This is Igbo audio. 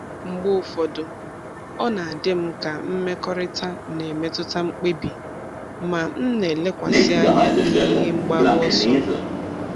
Mgbe ụfọdụ, ọ na-adị m ka mmekọrịta na-emetụta mkpebi, ma m na-elekwasị anya n'ihe mgbaru ọsọ m.